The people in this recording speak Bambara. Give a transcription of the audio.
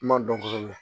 N ma dɔn kosɛbɛ